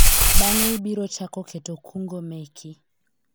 bang'e ibiro chako keto kungo meki